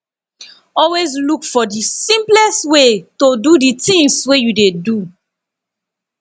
always look for the simplest way to do the things wey you dey do